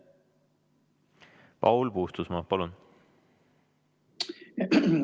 Paul Puustusmaa, palun!